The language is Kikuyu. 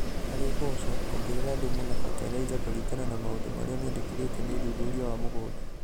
Harĩ mboco, ongerera thũmu na batalaiza kũringana na maũndũ marĩa mĩndekithĩtio nĩ ũthuthuria wa mũgũnda.